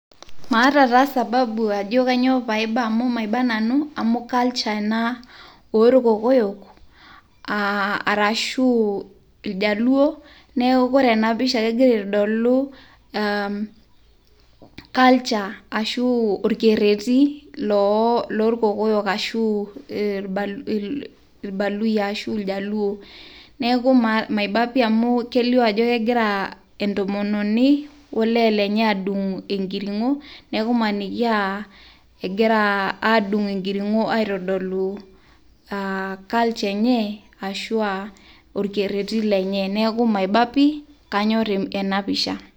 Maata taa sababu ajo kanyioo paiba amu maiba nanu, amu culture ena orkokoyo, ah arashu iljaluo. Neeku ore ena pisha kegira aitodolu um culture ashu orkerrerri, lorkokoyo ashu ilbaluyia ashu iljaluo. Neeku maiba pi amu kelio ajo kegira entomononi olee lenye adung' enkiring'o, neku maniki ah egira adung' enkiring'o aitodolu ah culture enye, ashua orkerrerri lenye. Neeku maiba pi, kanyor enapisha.